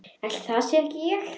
Ætli það sé ekki ég.